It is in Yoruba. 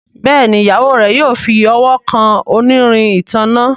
Béèni Ìyàwó rẹ yóò fí ọwọ kàn onírin ìtanná.